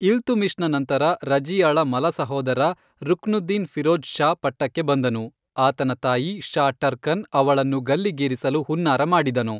ಇಲ್ತುಮಿಶ್ ನಂತರ, ರಜಿಯಾಳ ಮಲ ಸಹೋದರ ರುಕ್ನುದ್ದೀನ್ ಫಿರೋಜ್ ಷಾ ಪಟ್ಟಕ್ಕೆ ಬಂದನು, ಆತನ ತಾಯಿ ಶಾ ಟರ್ಕನ್ ಅವಳನ್ನು ಗಲ್ಲಿಗೇರಿಸಲು ಹುನ್ನಾರ ಮಾಡಿದನು.